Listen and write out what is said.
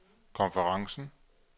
konferencen